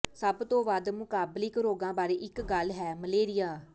ਸਭ ਤੋਂ ਵੱਧ ਮੁਕਾਬਲਿਕ ਰੋਗਾਂ ਬਾਰੇ ਇੱਕ ਗੱਲ ਹੈ ਮਲੇਰੀਆ